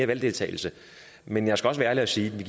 valgdeltagelse men jeg skal også være ærlig og sige at vi